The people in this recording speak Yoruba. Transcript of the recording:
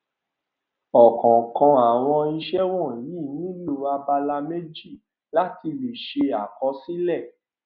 ọkọọkan àwọn ìṣe wọnyí nílò abala méjì láti lè ṣe àkọsílẹ